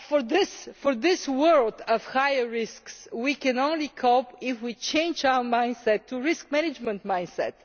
In this world of higher risks, we can only cope if we change our mindset to a risk management mindset.